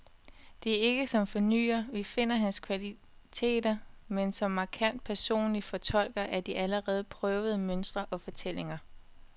Det er ikke som fornyer, vi finder hans kvaliteter, men som markant personlig fortolker af de allerede prøvede mønstre og fortællinger.